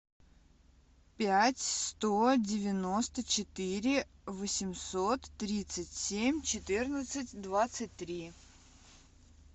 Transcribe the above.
пять сто девяносто четыре восемьсот тридцать семь четырнадцать двадцать три